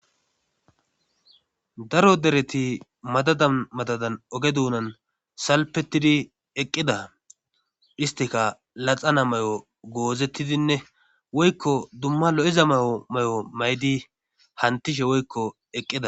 Daro dereti madada madadan oge duunan salpettidi eqqida histika laxana may'o goozettidinne woykko dumma lo'iza mayo may'o maydi hantishe woykko eqqida.